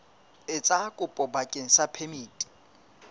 etsa kopo bakeng sa phemiti